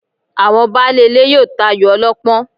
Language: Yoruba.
Àwọn baálé ilé yóò tayò ọlọ́pọ́n